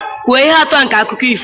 Kwuo ihe atụ nke akụkọ ifo